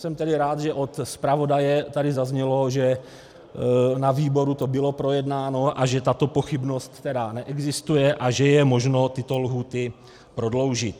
Jsem tedy rád, že od zpravodaje tady zaznělo, že na výboru to bylo projednáno a že tato pochybnost tedy neexistuje a že je možno tyto lhůty prodloužit.